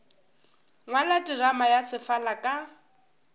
ngwala terama ya sefala ka